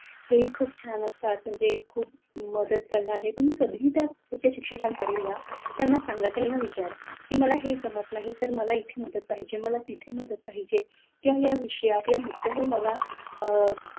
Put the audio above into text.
हे खूप छान असतात म्हणजे मदत करणारे तुम्ही कधीही आपल्या शिक्षकांकडे जा सांगा त्यांना विचारा की मला हे जमत नाही तर मला इथे मदत पाहिजे तिथे मदत पाहिजे किंवा या विषयात काय मुद्द्यावर मला,